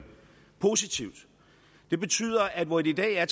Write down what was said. positivt det betyder at hvor det i dag er